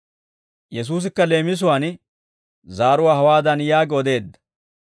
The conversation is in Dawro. Yesuusikka leemisuwaan zaaruwaa hawaadan yaagi odeedda: